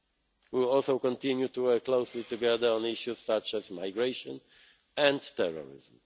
open. We will also continue to work closely together on issues such as migration and